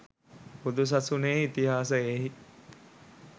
බුදුසසුනේ ඉතිහාසයෙහි